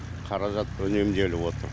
қаражат үнемделіп отыр